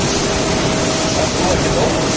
Ert þú ekkert ofvirk?